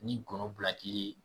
Ni ye